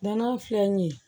Nɔnɔ filɛ nin ye